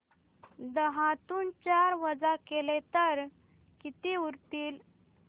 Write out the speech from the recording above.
दहातून चार वजा केले तर किती उरतील